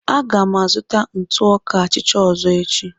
Aga m azụta ntụ ọka achịcha ọzọ echi.